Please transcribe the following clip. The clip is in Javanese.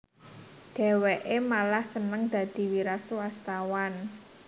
Dhèwèké malah seneng dadi wiraswastawan